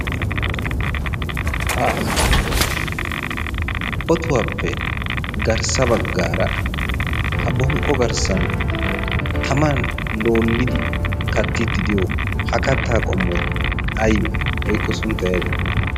ha otuwaappe garssa baggaara ha bonqqo garssan taman loolidi kattiiddi diyo ha kattaa qommoi aybe? woikko sunttay ayibe?